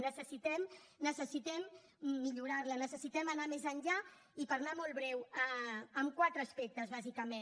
necessitem necessitem millorarla necessitem anar més enllà i per anar molt breu en quatre aspectes bàsicament